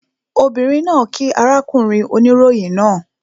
Obìnrin náà kíí arákùnrin oníròyìn náà